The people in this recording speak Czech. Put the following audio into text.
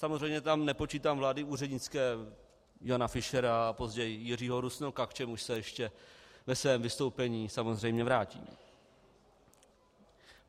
Samozřejmě tam nepočítám vlády úřednické Jana Fischera a později Jiřího Rusnoka, k čemuž se ještě ve svém vystoupení samozřejmě vrátím.